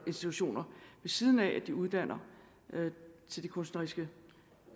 institutioner ved siden af at de uddanner til de kunstneriske